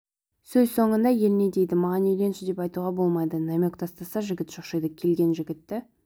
сөз соңында ел не дейді маған үйленші деп айтуға болмайды намек тастаса жігіт шошиды келген жігітті